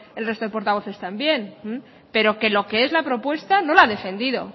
el resto de portavoces también pero que lo qué es la propuesta no la ha defendido